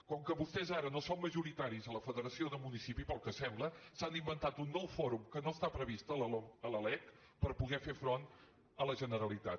com que vostès ara no són majoritaris a la federació de municipis pel que sembla s’han inventat un nou fòrum que no està previst a la lec per poder fer front a la generalitat